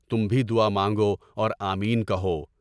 تم بھی دعا مانگو اور آمین کہو۔